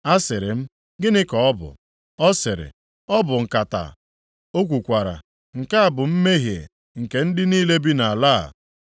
Asịrị m, “Gịnị ka ọ bụ?” Ọ sịrị, “Ọ bụ nkata.” + 5:6 Maọbụ, ihe ọtụtụ Efa. O kwukwara, “Nke a bụ mmehie nke ndị niile bi nʼala a.”